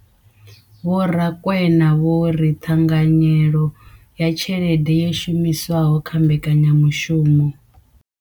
Vho Rakwena vho ri ṱhanganyelo ya tshelede yo shumiswaho kha mbekanyamushumo.